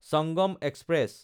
Changam express